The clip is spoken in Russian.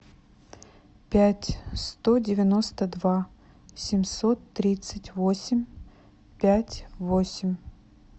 пять сто девяносто два семьсот тридцать восемь пять восемь